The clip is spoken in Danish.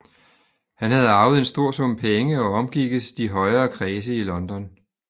Han havde arvet en stor sum penge og omgikkes de højere kredse i London